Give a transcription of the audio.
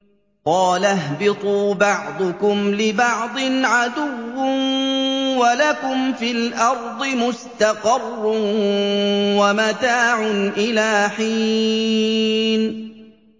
قَالَ اهْبِطُوا بَعْضُكُمْ لِبَعْضٍ عَدُوٌّ ۖ وَلَكُمْ فِي الْأَرْضِ مُسْتَقَرٌّ وَمَتَاعٌ إِلَىٰ حِينٍ